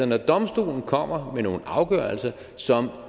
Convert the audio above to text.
når domstolen kommer med nogle afgørelser som